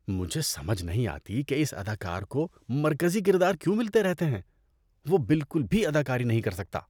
مجھے سمجھ نہیں آتی کہ اس اداکار کو مرکزی کردار کیوں ملتے رہتے ہیں۔ وہ بالکل بھی اداکاری نہیں کر سکتا۔